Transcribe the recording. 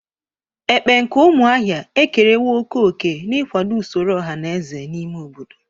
Ekpe nke umuahia ekerewo oke oke n'ikwado usoro oha na eze n'ime obodo.